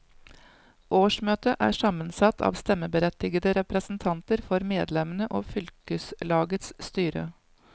Årsmøtet er sammensatt av stemmeberettigede representanter for medlemmene og fylkeslagets styre.